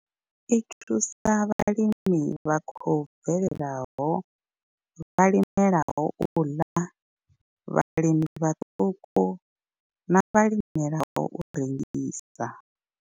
I thusa vhalimi vha khou bvelelaho, vhalimela u ḽa, vhalimi vhaṱuku na vhalimela u rengisa.